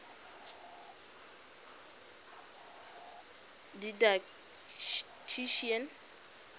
didactician